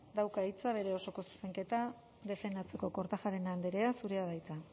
dauka hitza bere osoko zuzenketa defendatzeko kortajarena andrea zurea da hitza